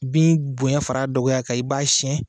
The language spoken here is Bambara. Bin bonya far'a dɔgɔya kan i b'a siɲɛn.